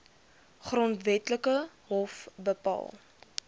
grondwetlike hof bepaal